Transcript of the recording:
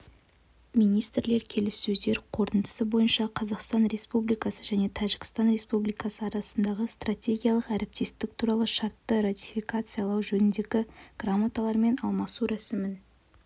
министрлер келіссөздер қорытындысы бойынша қазақстан республикасы және тәжікстан республикасы арасында стратегиялық әріптестік туралы шартты ратификациялау жөніндегі грамоталармен алмасу рәсімін